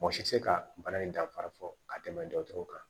Mɔgɔ si tɛ se ka bana in danfara fɔ ka tɛmɛ dɔgɔtɔrɔw kan